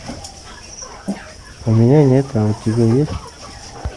у меня нет а у тебя есть